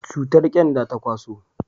cutar kyanda ta kwaso